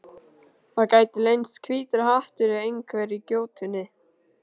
Það gæti leynst hvítur hattur í einhverri gjótunni.